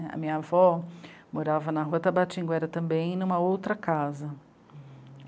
A minha avó morava na Rua Tabatinguara, e também em uma outra casa.